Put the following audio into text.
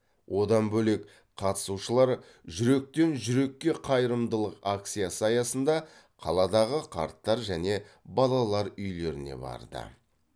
одан бөлек қатысушылар жүректен жүрекке қайырымдылық акциясы аясында қаладағы қарттар және балалар үйлеріне барды